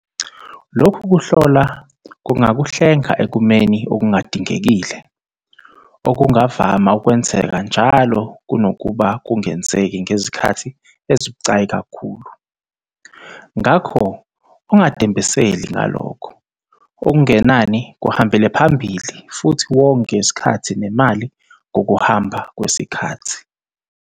Lokhu kuhlola kungakuhlenga ekumeni okungadingekile, okungavama ukwenzeka njalo kunokuba kungenzeki ngezikhathi ezibucayi kakhulu. Ngakho ungadembeseli ngalokho, okungenani kuhambele phambili futhi wonge isikhathi nemali ngokuhamba kwesikhathi.